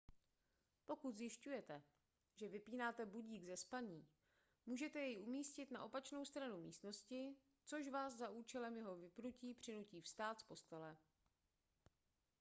pokud zjišťujete že vypínáte budík ze spaní můžete jej umístit na opačnou stranu místnosti což vás za účelem jeho vypnutí přinutí vstát z postele